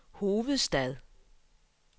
hovedstad